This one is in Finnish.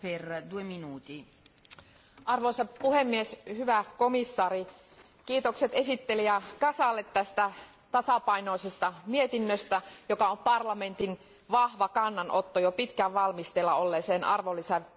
Arvoisa puhemies, hyvä komissaari, kiitokset esittelijä Casalle tästä tasapainoisesta mietinnöstä, joka on parlamentin vahva kannanotto jo pitkään valmisteilla olleeseen arvonlisäverojärjestelmän uudistamiseen.